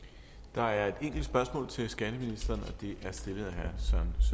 der er et enkelt spørgsmål til skatteministeren